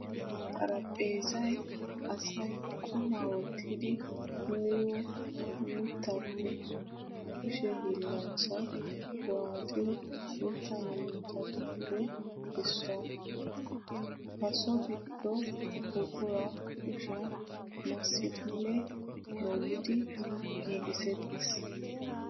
Xaraphpheezay asay qumma wottiddi miyo mittappe kushe hiillanchchay waaxiyo mitta murutattuppe issuwa. Ha so gido buqura kushiyan massiddinne moliddi giigiseetes.